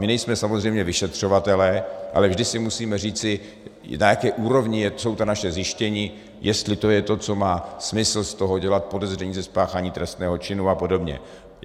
My nejsme samozřejmě vyšetřovatelé, ale vždy si musíme říci, na jaké úrovni jsou ta naše zjištění, jestli je to to, co má smysl z toho dělat podezření ze spáchání trestného činu a podobně.